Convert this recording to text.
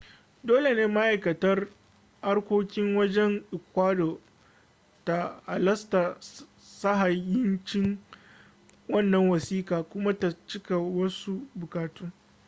dole ne ma'aikatar harkokin wajen ecuador ta halasta sahihancin wannan wasiƙa kuma ta cika wasu buƙatu